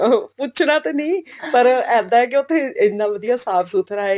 ਆਹੋ ਪੁੱਛਣਾ ਤੇ ਨੀ ਪਰ ਇੱਦਾਂ ਹੈ ਕਿ ਉੱਠ ਇੰਨਾ ਵਧੀਆ ਸਾਫ਼ ਸੁਥਰਾ ਹੈ